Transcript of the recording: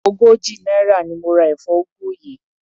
Ogójì náírà ni mo ra èfó ugu yìí.